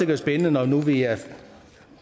være spændende når nu vi